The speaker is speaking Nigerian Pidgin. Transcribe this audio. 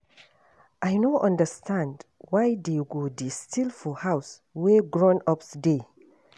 I no understand why dey go dey steal for house wey grown-ups dey